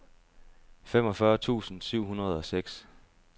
femogfyrre tusind syv hundrede og seks